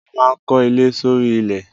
A maa n ko ile s'ori ilẹ